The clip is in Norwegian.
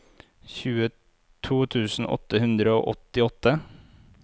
tjueto tusen åtte hundre og åttiåtte